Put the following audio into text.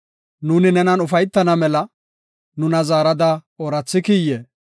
Nuuni nenan ufaytana mela, nuna zaarada oorathikiyee?